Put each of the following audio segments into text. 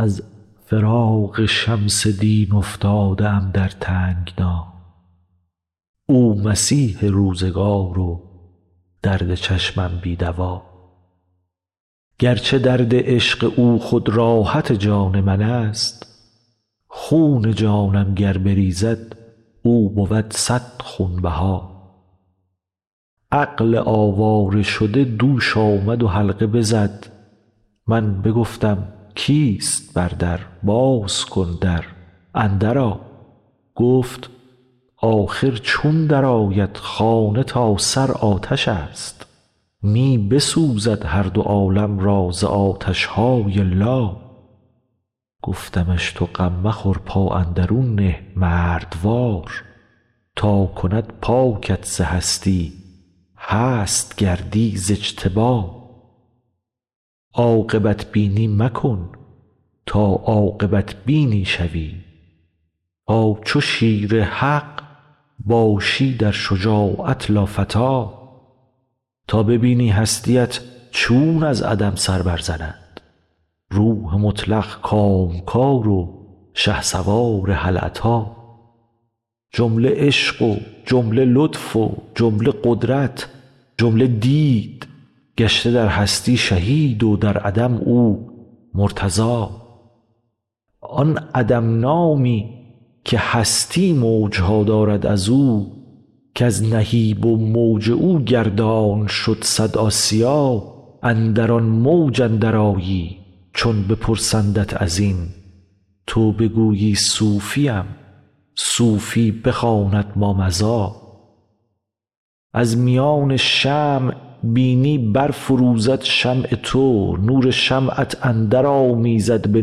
از فراق شمس دین افتاده ام در تنگنا او مسیح روزگار و درد چشمم بی دوا گرچه درد عشق او خود راحت جان منست خون جانم گر بریزد او بود صد خونبها عقل آواره شده دوش آمد و حلقه بزد من بگفتم کیست بر در باز کن در اندرآ گفت آخر چون درآید خانه تا سر آتش است می بسوزد هر دو عالم را ز آتش های لا گفتمش تو غم مخور پا اندرون نه مردوار تا کند پاکت ز هستی هست گردی ز اجتبا عاقبت بینی مکن تا عاقبت بینی شوی تا چو شیر حق باشی در شجاعت لافتی تا ببینی هستی ات چون از عدم سر برزند روح مطلق کامکار و شهسوار هل اتی جمله عشق و جمله لطف و جمله قدرت جمله دید گشته در هستی شهید و در عدم او مرتضی آن عدم نامی که هستی موج ها دارد از او کز نهیب و موج او گردان شد صد آسیا اندر آن موج اندرآیی چون بپرسندت از این تو بگویی صوفیم صوفی بخواند مامضی از میان شمع بینی برفروزد شمع تو نور شمعت اندرآمیزد به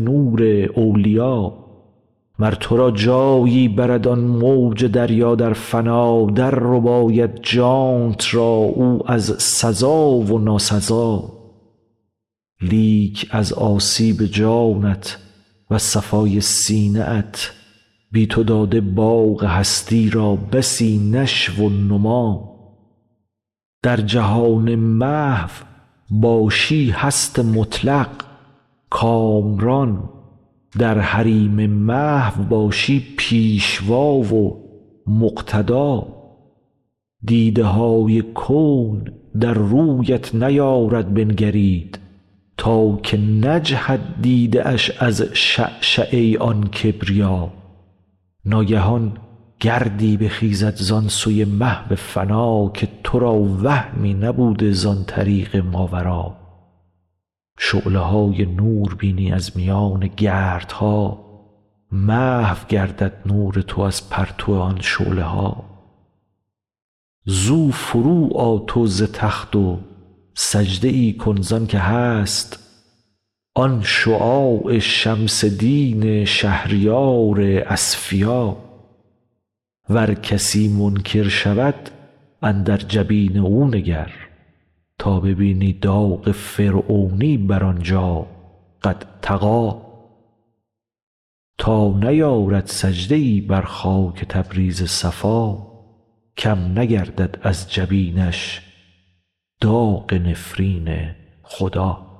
نور اولیا مر تو را جایی برد آن موج دریا در فنا دررباید جانت را او از سزا و ناسزا لیک از آسیب جانت وز صفای سینه ات بی تو داده باغ هستی را بسی نشو و نما در جهان محو باشی هست مطلق کامران در حریم محو باشی پیشوا و مقتدا دیده های کون در رویت نیارد بنگرید تا که نجهد دیده اش از شعشعه آن کبریا ناگهان گردی بخیزد زان سوی محو فنا که تو را وهمی نبوده زان طریق ماورا شعله های نور بینی از میان گردها محو گردد نور تو از پرتو آن شعله ها زو فروآ تو ز تخت و سجده ای کن زانک هست آن شعاع شمس دین شهریار اصفیا ور کسی منکر شود اندر جبین او نگر تا ببینی داغ فرعونی بر آن جا قد طغی تا نیارد سجده ای بر خاک تبریز صفا کم نگردد از جبینش داغ نفرین خدا